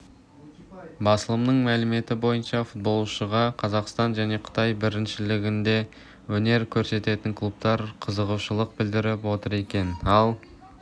басылымның мәліметі бойынша футболшыға қазақстан және қытай біріншілігінде өнер көрсететін клубтар қызығушылық білдіріп отыр екен ал